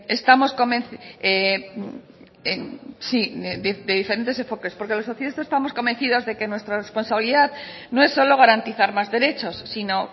estamos convencidos de que nuestra responsabilidad no es solo garantizar más derechos sino